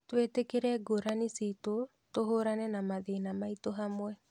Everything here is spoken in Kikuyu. Twĩtĩkĩre ngũrani citu tũhũrane na mathĩna maitũ hamwe.